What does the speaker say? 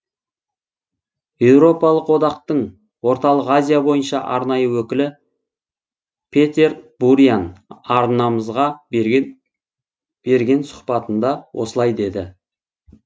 еуропалық одақтың орталық азия бойынша арнайы өкілі петер буриан арнамызға берген сұхбатында осылай деді